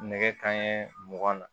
Nɛgɛ kanɲɛ mugan na